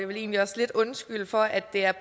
vil egentlig også lidt undskylde for at det er